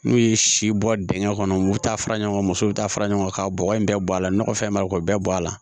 N'u ye si bɔ dingɛ kɔnɔ u bɛ taa fara ɲɔgɔn kan musow bɛ taa fara ɲɔgɔn kan ka bɔgɔ in bɛɛ bɔ a la nɔgɔfɛn bɛ k'o bɛɛ bɔ a la